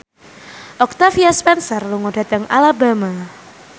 Octavia Spencer lunga dhateng Alabama